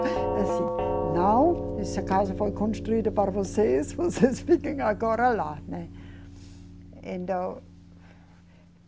Assim. Não, esta casa foi construída para vocês, vocês fiquem agora lá, né. Então